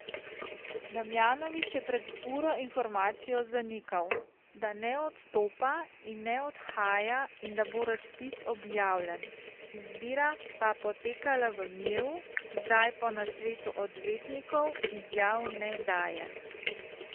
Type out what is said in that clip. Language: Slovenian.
Damjanovič je pred uro informacijo zanikal, da ne odstopa in ne odhaja in da bo razpis objavljen, izbira pa potekala v miru, zdaj po nasvetu odvetnikov izjav ne daje.